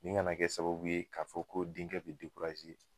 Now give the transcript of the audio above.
Nin kana kɛ sababu ye ka fɔ ko denkɛ bi